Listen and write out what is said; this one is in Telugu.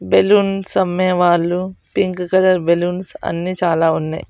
బెలూన్స్ అమ్మేవాళ్ళు పింక్ కలర్ బెలూన్స్ అన్ని చాలా ఉన్నాయి.